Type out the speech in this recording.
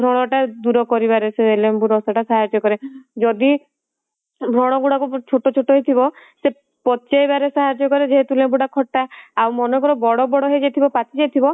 ସେ ବ୍ରଣ ଟା ଦୂର କରିବାରେ ସେ ଲେମ୍ବୁ ରସ ଟା ସାହାର୍ଯ୍ୟ କରେ ଯଦି ବ୍ରଣ ଗୁଡାକ ଛୋଟ ଛୋଟ ହେଇଥିବ ସେ ପଚେଇବା ରେ ସାହାର୍ଯ୍ୟ କରେ ଯେହେତୁ ଲେମ୍ବୁ ଟା ଖଟା ଆଉ ମନକୁ ମନ ବଡ ବଡ ହେଇଯାଇଥିବ ପାଚି ଯାଇଥିବ